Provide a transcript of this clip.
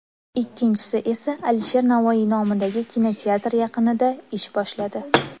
Ikkinchisi esa Alisher Navoiy nomidagi kinoteatr yaqinida ish boshladi.